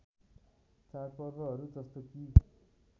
चाडपर्वहरू जस्तो कि